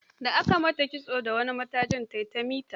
Da aka yi mata kitso da wani matajin ta yi ta mita.